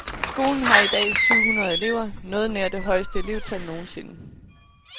Skolen har i dag syv hundrede elever, noget nær det højeste elevtal nogensinde.